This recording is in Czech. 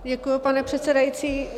Děkuji, pane předsedající.